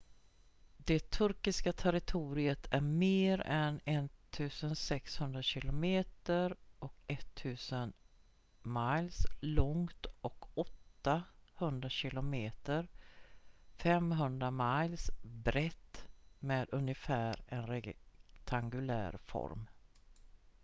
det turkiska territoriet är mer än 1 600 kilometer 1 000 miles långt och 800 km 500 miles brett med ungefär en rektangulär form